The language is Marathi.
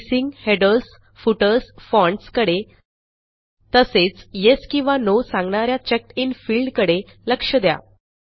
स्पेसिंग हेडर्स फुटर्स फॉन्ट्स कडे तसेच येस किंवा नो सांगणा या चेकडिन फील्ड कडे लक्ष द्या